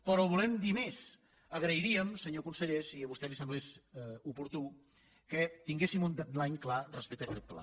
però volem dir més agrairíem senyor conseller si a vostè li semblés oportú que tinguéssim un deadlineclar respecte a aquest pla